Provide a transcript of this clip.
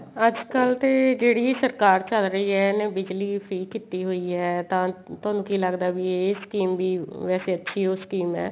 ਅੱਜਕਲ ਤੇ ਜਿਹੜੀ ਸਰਕਾਰ ਚੱਲ ਰਹੀ ਏ ਇਹਨੇ ਬਿਜਲੀ free ਕੀਤੀ ਹੋਈ ਏ ਤਾਂ ਤੁਹਾਨੂੰ ਕੀ ਲੱਗਦਾ ਵੀ ਇਹ scheme ਵੀ ਵੈਸੇ ਅੱਛੀ ਓ scheme ਏ